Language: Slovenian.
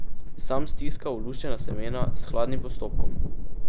Sam stiska oluščena semena s hladnim postopkom.